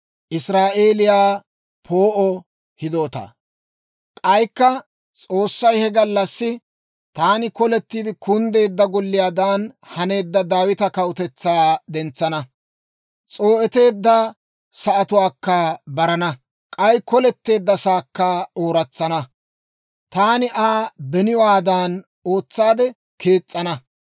K'aykka S'oossay, «He gallassi taani kolettiide kunddeedda golliyaadan haneedda Daawita kawutetsaa dentsana; s'oo'eteedda sa'atuwaakka barana; k'ay koletteeddasaakka ooratsana; taani Aa beniwaadan ootsaade kees's'ana.